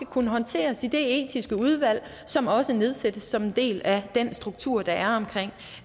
kunne håndteres i det etiske udvalg som også nedsættes som en del af den struktur der er omkring